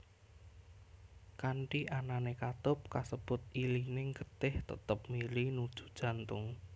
Kanthi anané katup kasebut ilining getih tetep mili nuju jantung